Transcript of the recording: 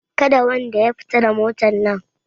Kada wanda ya fita da motan nan!